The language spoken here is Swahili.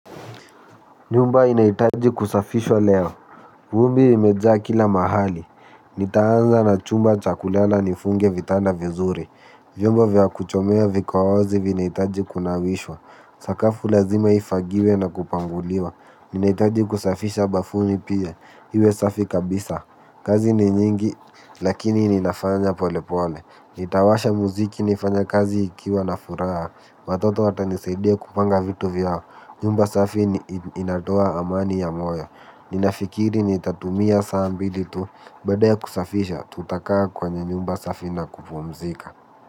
Nyumba inahitaji kusafishwa leo. Vumbi limeja kila mahali. Nitaanza na chumba cha kulala nifunge vitanda vizuri. Vyombo vya kuchomea viko wazi vinahitaji kunawishwa. Sakafu lazima ifagiwe na kupanguliwa. Ninahitaji kusafisha bafuni pia. Iwe safi kabisa. Kazi ni nyingi lakini ninafanya pole pole. Nitawasha muziki nifanye kazi nikiwa na furaha. Watoto watanisaidia kupanga vitu vyao. Nyumba safi inatoa amani ya moyo. Ninafikiri nitatumia saa mbili tu. Baada ya kusafisha tutakaa kwenye nyumba safi na kupumzika.